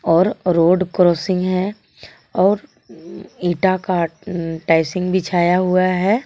और road crossing है और एटा का अं टाइसिंग बिछाया हुआ है.